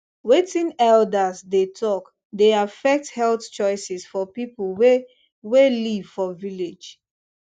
wetin elders dey talk dey affect health choices for people wey wey live for village